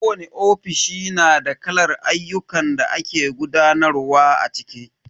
Kowani ofishi na da kalar ayyukan da ake gudanarwa a ciki.